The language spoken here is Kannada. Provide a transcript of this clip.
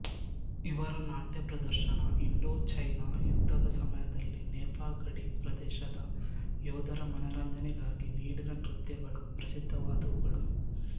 ಇವರ ನಾಟ್ಯ ಪ್ರದರ್ಶನ ಇಂಡೋಚೈನಾ ಯುದ್ಧದ ಸಮಯದಲ್ಲಿ ನೇಫಾ ಗಡಿ ಪ್ರದೇಶದ ಯೋಧರ ಮನರಂಜನೆಗಾಗಿ ನೀಡಿದ ನೃತ್ಯಗಳು ಪ್ರಸಿದ್ಧವಾದವುಗಳು